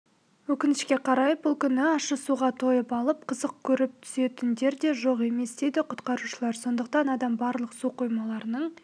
өкінішке қарай бұл күні ащы суға тойып алып қызық көріп түсетіндер де жоқ емес дейді құтқарушылар сондықтан адам барлық су қоймаларының